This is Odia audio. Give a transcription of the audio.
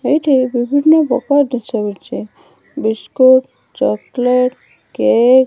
ଏଇଠି ବିଭିନ୍ନ ପ୍ରକାର ଜିନିଷ ମିଲଛି। ବିସ୍କୁଟ ଚକୋଲେଟ ଟେକ୍ ।